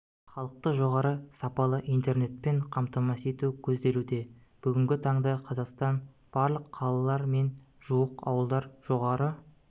халықты жоғары сапалы интернетпен қамтамасыз ету көзделуде бүгінгі таңда қазақстан барлық қалалар мен жуық ауылдар жоғары